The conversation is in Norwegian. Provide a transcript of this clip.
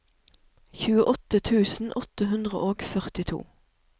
tjueåtte tusen åtte hundre og førtito